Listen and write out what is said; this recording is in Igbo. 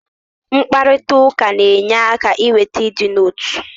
mkparịta ụka na-enye aka iweta ịdị n'otu